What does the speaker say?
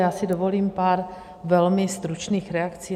Já si dovolím pár velmi stručných reakcí.